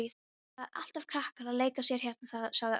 Það eru alltaf krakkar að leika sér hérna sagði Örn.